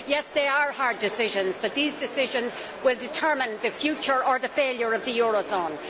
Yes, they are hard decisions, but these decisions will determine the future or the failure of the euro zone.